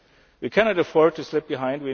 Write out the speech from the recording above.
We cannot afford to slip